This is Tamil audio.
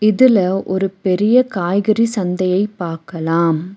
இதுல ஒரு பெரிய காய்கறி சந்தையை பாக்கலாம்.